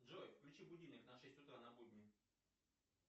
джой включи будильник на шесть утра на будни